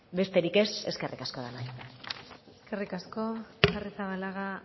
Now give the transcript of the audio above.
besterik ez eskerrik asko denoi eskerrik asko arrizabalaga